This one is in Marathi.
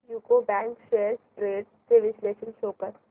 यूको बँक शेअर्स ट्रेंड्स चे विश्लेषण शो कर